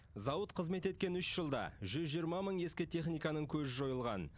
зауыт қызмет еткен үш жылда жүз жиырма мың ескі техниканың көзі жойылған